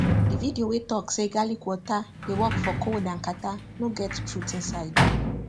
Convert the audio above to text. the video wey talk say garlic water dey work for cough and catarrh no get truth inside